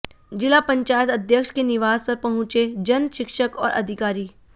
जिला पंचायत अध्यक्ष के निवास पर पहुंचे जन शिक्षक और अधिकारी